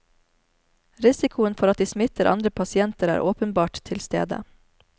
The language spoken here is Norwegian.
Risikoen for at de smitter andre pasienter, er åpenbart tilstede.